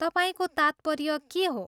तपाईँको तात्पर्य के हो?